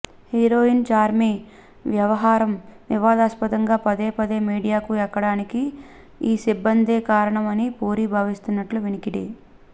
heroine Charmi వ్యవహారం వివాదాస్పదంగా పదే పదే మీడియాకు ఎక్కడానికి ఈ సిబ్బందే కారణం అని పూరి భావిస్తున్నట్లు వినికిడి